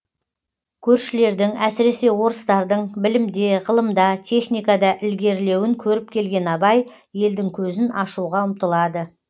көршілердің әсіресе орыстардың білімде ғылымда техникада ілгерілеуін көріп келген абай елдің көзін ашуға ұмтылады